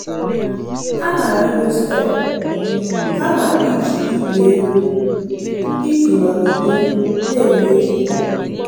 Ha na-arịgo steepụ kama iji igwe elu iji nọgide na-eme ihe.